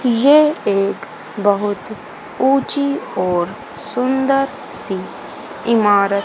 यह एक बहुत ऊंची और सुंदर सी इमारत--